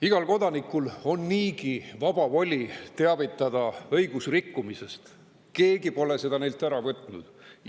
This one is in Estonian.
Igal kodanikul on niigi vaba voli teavitada õigusrikkumisest, keegi pole seda neilt ära võtnud.